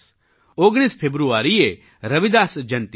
19 ફેબ્રુઆરીએ રવિદાસ જયંતી છે